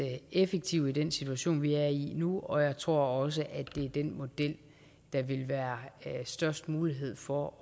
effektive i den situation vi er i nu og jeg tror også at det er den model der vil være størst mulighed for